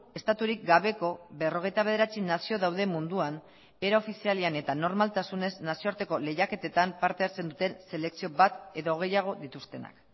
estaturik gabeko berrogeita bederatzi nazio daude munduan era ofizialean eta normaltasunez nazioarteko lehiaketetan parte hartzen duten selekzio bat edo gehiago dituztenak